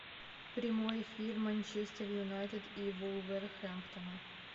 прямой эфир манчестер юнайтед и вулверхэмптона